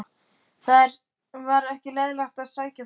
Það var ekki leiðinlegt að sækja þær.